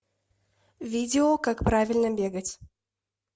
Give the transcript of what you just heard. видео как правильно бегать